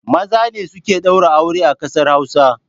Maza ne suke ɗaura aure a ƙasar Hausa